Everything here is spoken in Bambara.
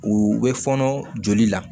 U bɛ fɔɔnɔ joli la